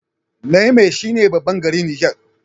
Niamey shi ne babban garin Niger